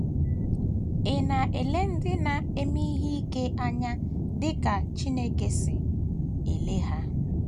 Ị̀ Na - ele Ndị na - eme Ihe ike Anya Dị ka Chineke Si Ele Ha?